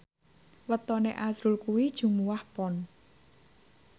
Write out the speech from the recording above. wetone azrul kuwi Jumuwah Pon